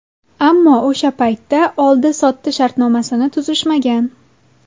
Ammo o‘sha paytda oldi-sotdi shartnomasini tuzishmagan.